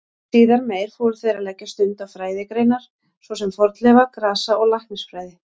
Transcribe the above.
Síðar meir fóru þeir að leggja stund á fræðigreinar svo sem fornleifa-, grasa- og læknisfræði.